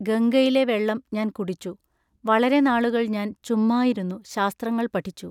ഗംഗയിലെ വെള്ളം ഞാൻ കുടിച്ചു. വളരെ നാളുകൾ ഞാൻ ചുമ്മായിരുന്നു ശാസ്ത്രങ്ങൾ പഠിച്ചു.